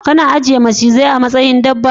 Kuna ajiye macizai a matsayin dabba?